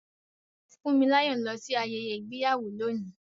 Funmilayo ń lọ sí ayẹyẹ ìgbéyàwó lónìí.